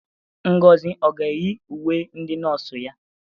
Ngozi ọ ga-eyi uwe ndị nọọsụ ya?